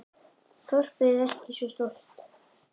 Þorpið er ekki svo stórt.